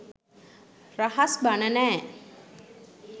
රහස් බණ නෑ.